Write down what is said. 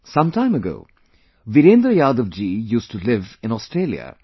Sometime ago, Virendra Yadav ji used to live in Australia